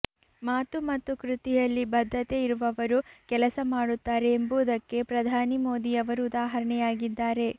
ಮಾತು ಮತ್ತು ಕೃತಿಯಲ್ಲಿ ಬದ್ಧತೆ ಇರುವವರು ಕೆಲಸ ಮಾಡುತ್ತಾರೆ ಎಂಬುದಕ್ಕೆ ಪ್ರಧಾನಿ ಮೋದಿಯವರು ಉದಾಹರಣೆ ಯಾಗಿದ್ದಾರೆ